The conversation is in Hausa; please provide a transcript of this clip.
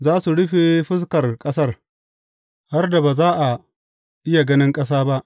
Za su rufe fuskar ƙasar, har da ba za a iya ganin ƙasa ba.